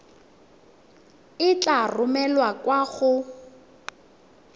e tla romelwa kwa go